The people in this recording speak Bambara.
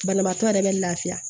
Banabaatɔ yɛrɛ bɛ lafiya